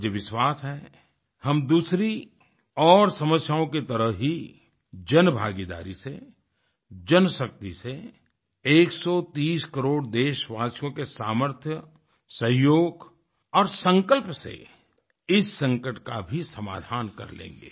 मुझे विश्वास है हम दूसरी और समस्याओं की तरह ही जनभागीदारी से जनशक्ति से एक सौ तीस करोड़ देशवासियों के सामर्थ्य सहयोग और संकल्प से इस संकट का भी समाधान कर लेंगे